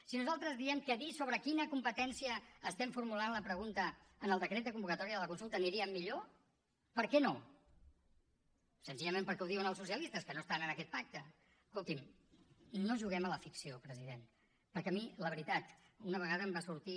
si nosaltres diem que dient sobre quina competència estem formulant la pregunta en el decret de convocatòria de la consulta aniríem millor per què no senzillament perquè ho diuen els socialistes que no estan en aquest pacte escolti’m no juguem a la ficció president perquè a mi la veritat una vegada em va sortir